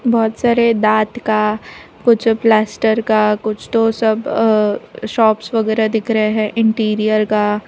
बहोत सारे दांत का कुछ प्लास्टर का कुछ तो सब अ शॉप्स वगैरह दिख रहे हैं इंटीरियर का --